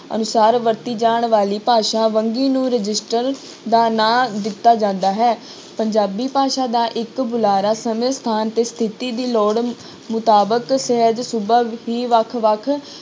ਅਨੁਸਾਰ ਵਰਤੀ ਜਾਣ ਵਾਲੀ ਭਾਸ਼ਾ ਵੰਨਗੀ ਨੂੰ ਰਜਿਸਟਰ ਦਾ ਨਾਂ ਦਿੱਤਾ ਜਾਂਦਾ ਹੈ, ਪੰਜਾਬੀ ਭਾਸ਼ਾ ਦਾ ਇੱਕ ਬੁਲਾਰਾ ਸਮੇਂ ਸਥਾਨ ਤੇ ਸਥਿੱਤੀ ਦੀ ਲੋੜ ਮੁਤਾਬਕ ਸਹਿਜ ਸੁਭਾਅ ਹੀ ਵੱਖ ਵੱਖ